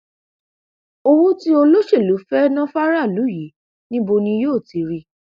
owó tí olóṣèlú fẹẹ ná fáráàlú yìí níbo ni yóò ti rí i